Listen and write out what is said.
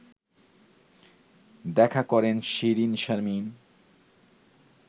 দেখা করেন শিরীনশারমিন